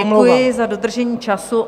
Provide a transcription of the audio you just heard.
Děkuji za dodržení času.